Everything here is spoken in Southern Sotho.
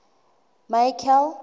michael